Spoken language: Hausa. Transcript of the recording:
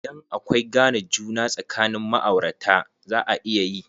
Idan akwai gane juna sakanin ma'aurata, za a iya yi.